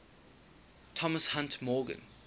thomas hunt morgan